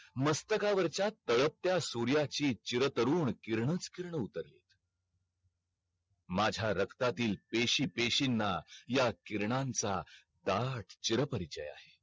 मस्तका वरच्या तळपत्या सूर्याची चिर तरुण किरणांच किरण उतरली माझ्या रक्तातील पेशी पेशींना ह्या किरणांचा ताट चिरापरिचय आहे